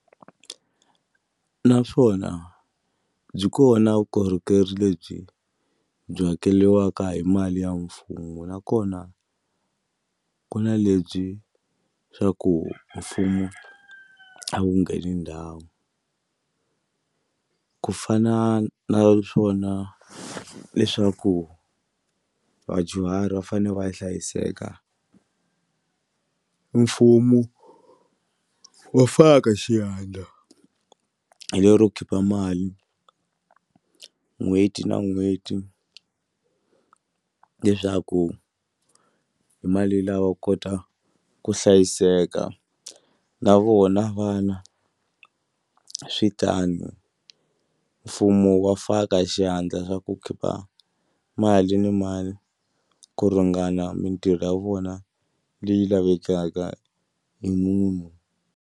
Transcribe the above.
Naswona byi kona vukorhokeri lebyi byi hakeriwaka hi mali ya mfumo nakona ku na lebyi swa ku mfumo a wu ngheni ndhawu a ku fana na swona leswaku vadyuhari va fane va hlayiseka mfumo wa faka xiandla hi lero khipa mali n'hweti na n'hweti leswaku hi mali lawa wa kota ku hlayiseka na vona vana swi swi tano mfumo wa faka xandla swa ku khipa mali ni mali ku ringana mitirho ya vona leyi lavekaka hi munhu.